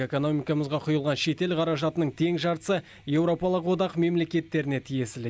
экономикамызға құйылған шетел қаражатының тең жартысы еуропалық одақ мемлекеттеріне тиесілі